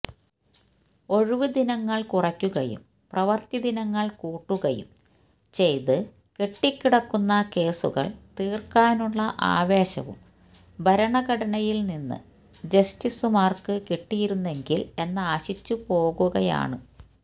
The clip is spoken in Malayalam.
ഒഴിവുദിനങ്ങള് കുറക്കുകയും പ്രവൃത്തിദിനങ്ങള് കൂട്ടുകയും ചെയ്ത് കെട്ടിക്കിടക്കുന്ന കേസുകള് തീര്ക്കാനുള്ള ആവേശവും ഭരണഘടനയില് നിന്ന് ജസ്റ്റിസുമാര്ക്കു കിട്ടിയിരുന്നെങ്കില് എന്നാശിച്ചുപോകുകയാണ്